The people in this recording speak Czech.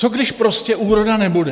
Co když prostě úroda nebude?